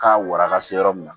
K'a waraka se yɔrɔ min na